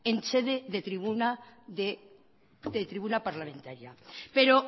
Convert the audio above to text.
en sede de tribuna parlamentaria pero